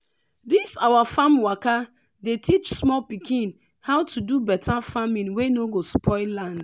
this our farm waka dey teach small pikin how to do better farming wey no go spoil land.